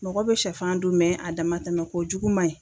Mɔgɔ bɛ shɛfan dun a damantɛmɛn kojugu man ɲi.